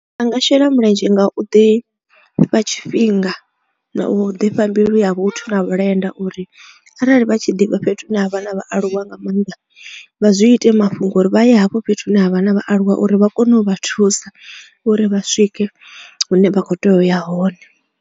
A nga shela mulenzhe nga u ḓi fha tshifhinga na ḓifha mbilu ya vhuthu na vhulenda uri arali vha tshi ḓivha fhethu hune ha vha na vhaaluwa nga maanḓa vha zwi ite mafhungo uri vha ye hafho fhethu hune ha vha na vhaaluwa uri vha kone u vha thusa uri vha swike hune vha kho tea u ya hone.